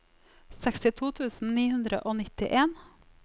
sekstito tusen ni hundre og nittien